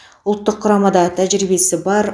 ұлттық құрамада тәжірибесі бар